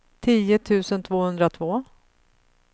tio tusen tvåhundratvå